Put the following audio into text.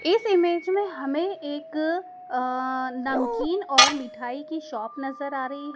इस इमेज में हमें एक अं नमकीन और मिठाई की शॉप नजर आ रही--